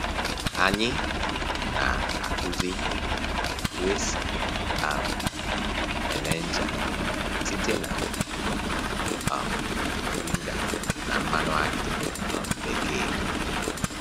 Anyị na-akụzi otu esi um eme ncha site n'iji um mọrịnga na mmanụ akị um bekee